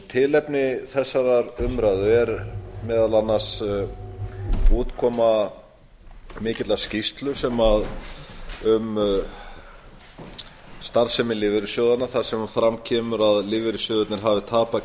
tilefni þessarar umræðu er meðal annars útkoma mikillar skýrslu um starfsemi lífeyrissjóðanna þar sem fram kemur að lífeyrissjóðirnir hafi tapað